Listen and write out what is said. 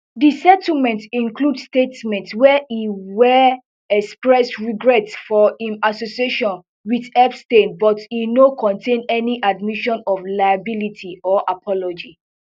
di settlement include statement where e where express regret for im association with epstein but e no contain any admission of liability or apology